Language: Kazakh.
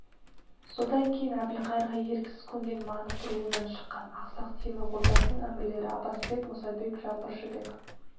содан кейін әбілқайырға еріксіз көнген маңғыт руынан шыққан ақсақ темір ордасының әмірлері аббас бек мұса бек жаңбыршы бек